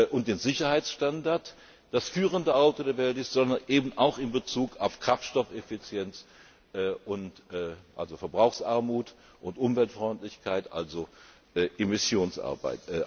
Fertigung und den Sicherheitsstandard das führende Auto der Welt ist, sondern eben auch in Bezug auf Kraftstoffeffizienz, also Verbrauchsarmut, und Umweltfreundlichkeit, also Emissionsarmut.